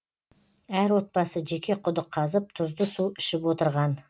әр отбасы жеке құдық қазып тұзды су ішіп отырған